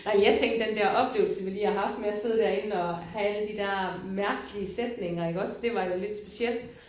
Nej men jeg tænkte den der oplevelse vi lige har haft med at sidde derinde og have alle de der mærkelige sætninger iggås det var jo lidt specielt